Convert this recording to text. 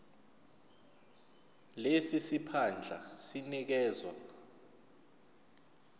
lesi siphandla sinikezwa